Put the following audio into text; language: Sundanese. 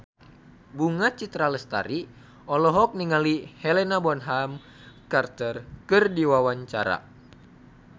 Bunga Citra Lestari olohok ningali Helena Bonham Carter keur diwawancara